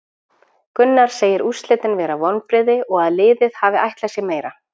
Gunnar segir úrslitin vera vonbrigði og að liðið hafi ætlað sér meira.